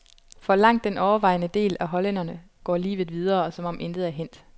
For langt den overvejende del af hollænderne går livet videre, som om intet er hændt.